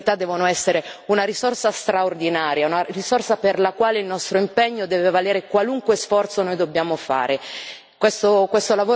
Le persone con disabilità devono essere una risorsa straordinaria, una risorsa per la quale il nostro impegno deve valere qualunque sforzo noi dobbiamo compiere.